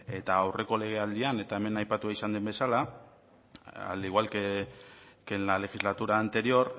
eta aurreko legealdian eta hemen aipatua izan den bezala al igual que en la legislatura anterior